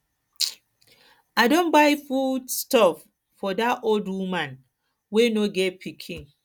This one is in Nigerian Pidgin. um i don buy food um stuff for dat old woman um wey no get pikin